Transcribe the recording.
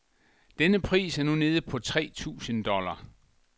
Denne pris er nu nede på tre tusind dollar.